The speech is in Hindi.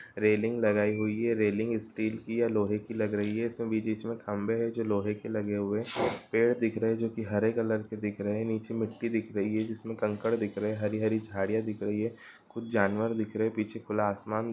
रेलिंग लगाई हुई है रेलिंग स्टील की या लोहे की लग रही है| इसमें बीच-बीच में खंबे है जो लोहे के लगे हुए हैं| पेड़ दिख रहे हैं जो की हरे कलर के दिख रहे हैं| नीचे मिट्टी दिख रही है जिसमें कंकड़ दिख रहे हैं| हरी-हरी झाड़ियां दिख रही है कुछ जानवर दिख रहे हैं| पीछे खुला आसमान--